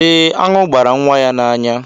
Eh, aṅụ gbara nwa ya n'anya.